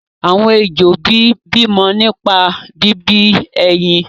àwọn ejò bí mọ nípa bí bí ẹyin.